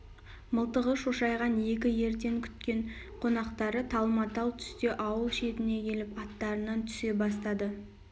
мылтығы шошайған екі ерткен күткен қонақтары талма-тал түсте ауыл шетіне келіп аттарынан түсе бастады